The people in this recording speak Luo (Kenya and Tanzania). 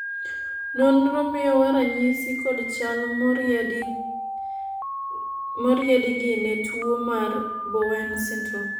nonro miyowa ranyisi kod chal moriedi gi ne tuo mar Bowen syndrome